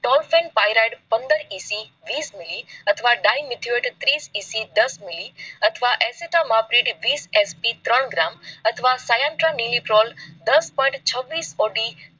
tolfenpyrad પંદર EC વિસ મિલી અથવા dimethoate ત્રીસ EC દસ મિલી અથવા ત્રણ gram અથવા દસ point છવ્વીસ OD